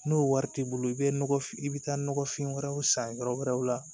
N'o wari t'i bolo i bɛ nɔgɔ f i bɛ taa nɔgɔfin wɛrɛw san yɔrɔ wɛrɛw la